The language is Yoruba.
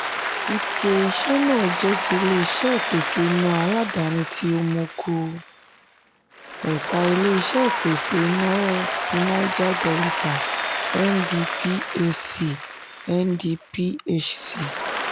ike iṣẹ́ náà jẹ́ ti ilé-iṣé ìpèsè iná aládàáni tí omoku ẹ̀ka ilé-iṣẹ ìpèsè iná tí naija delita (ndphc) (ndphc)